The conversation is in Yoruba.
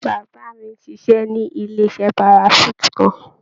Bàbá mi ń ṣiṣẹ́ ní ilé-iṣẹ́ parachute kan.